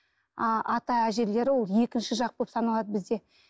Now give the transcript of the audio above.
а ата әжелері ол екінші жақ болып саналады бізде